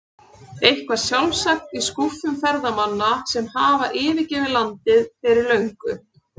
Eitthvað sjálfsagt í skúffum ferðamanna sem hafa yfirgefið landið fyrir löngu.